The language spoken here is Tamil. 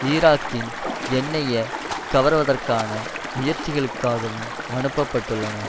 ஈராக்கின் எண்ணெயை கவர்வதற்காகான முயற்சிகளுக்காகவும் அனுப்ப பட்டுள்ளன